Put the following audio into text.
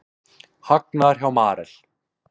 Hagnaður hjá Marel